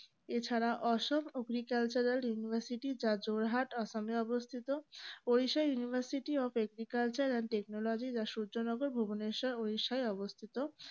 এছাড়া Assam agricultural university যা যোরহাট আসামে অবস্থিত odisha university of agriculture and technology যা সূর্য নগর ভুবনেশ্বর উড়িষ্যায় অবস্থিত